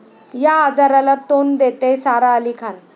या' आजाराला तोंड देतेय सारा अली खान